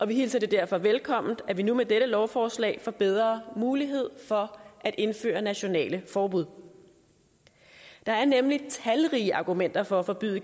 vi hilser det derfor velkommen at man nu med dette lovforslag får bedre mulighed for at indføre nationale forbud der er nemlig talrige argumenter for at forbyde